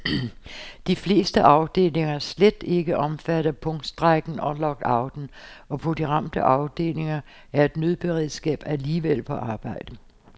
De fleste afdelinger er slet ikke omfattet af punktstrejken og lockouten, og på de ramte afdelinger er et nødberedskab alligevel på arbejde.